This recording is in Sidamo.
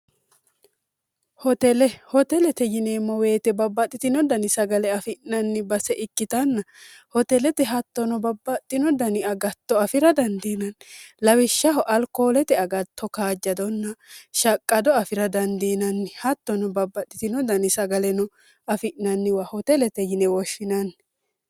hotelete yineemmoweete babbaxxitino dani sagale afi'nanni base ikkitanna hotelete hattono babbaxxino dani agatto afira dandiinanni lawishshaho alqoolete agatto kaajjadonna shaqqado afira dandiinanni hattono babbaxxitino dani sagaleno afi'nanniwa hotelete yine woshshinanni